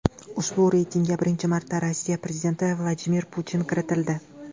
Ushbu reytingga birinchi marta Rossiya prezidenti Vladimir Putin kiritildi.